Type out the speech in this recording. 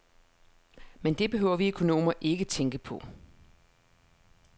Men det behøver vi økonomer ikke tænke på.